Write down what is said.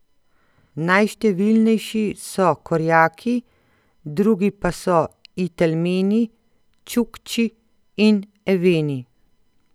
Najštevilnejši so Korjaki, drugi pa so Itelmeni, Čukči in Eveni.